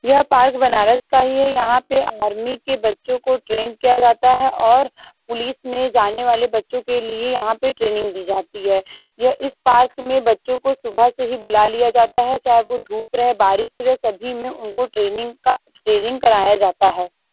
यह पार्क बनारस का ही है। यहाँ पे आर्मी के बच्चों को ट्रेन किया जाता है और पुलिस में जाने वाले बच्चों के लिए यहाँ पे ट्रेनिंग दी जाती है। यह इस पार्क में बच्चो को सुबह से ही बुला लिया जाता है चाहे वो धुप रहे बारिश रहे सभी में उनको ट्रेनिंग का ट्रेनिंग कराया जाता है।